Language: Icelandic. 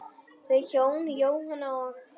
Þau hjón, Jóhanna og